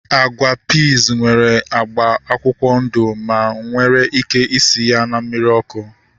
Agwa piiz nwere agba akwụkwọ ndụ ma enwere ike isi ya na mmiri ọkụ